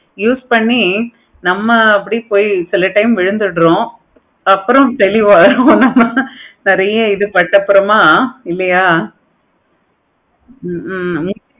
use பண்ணி நம்ம அப்படி போய் சில time விழுந்துடுறோம். அப்பறம் தெளிவாகிடுவோம். அதுக்கு அப்பறமா இல்லையா ஹம் உம்